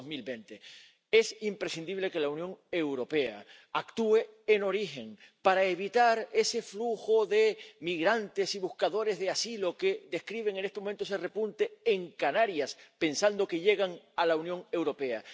2020. Es imprescindible que la Unión Europea actúe en origen para evitar ese flujo de migrantes y buscadores de asilo que refleja en este momento ese repunte en Canarias, pensando que llegan a la Unión Europea.